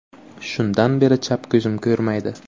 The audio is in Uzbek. Shundan beri chap ko‘zim ko‘rmaydi.